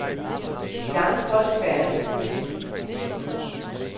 De andre folkefærd er lidt kølige.